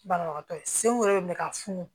Banabagatɔ ye senw yɛrɛ minɛ ka funu